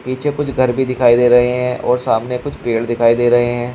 पीछे कुछ घर भी दिखाई दे रहे हैं और सामने कुछ पेड़ दिखाई दे रहे हैं।